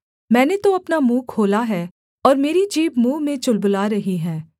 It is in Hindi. मैंने तो अपना मुँह खोला है और मेरी जीभ मुँह में चुलबुला रही है